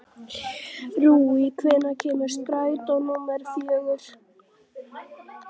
Rúrí, hvenær kemur strætó númer fjögur?